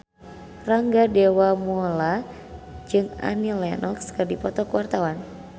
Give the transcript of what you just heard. Rangga Dewamoela jeung Annie Lenox keur dipoto ku wartawan